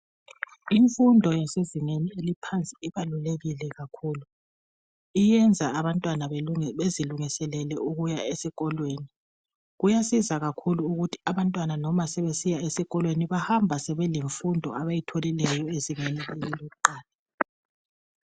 Imfundo yasezingeni eliphansi ibalulekile kakhulu iyenza abantwana bezilungiselele ukuya esikolweni. Kuyasiza kakhulu ukuthi abantwana noma sebesiya esikolweni bahamba lemfundo abayitholileyo ezingeni leli elokuqala.